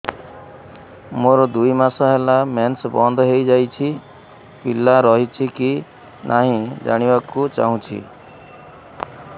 ମୋର ଦୁଇ ମାସ ହେଲା ମେନ୍ସ ବନ୍ଦ ହେଇ ଯାଇଛି ପିଲା ରହିଛି କି ନାହିଁ ଜାଣିବା କୁ ଚାହୁଁଛି